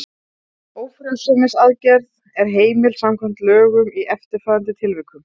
Ófrjósemisaðgerð er heimil samkvæmt lögunum í eftirfarandi tilvikum